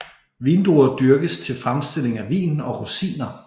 Vindruer dyrkes til fremstilling af vin og rosiner